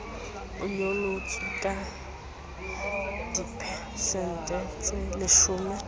e nyolotswe ka diphesente tseleshome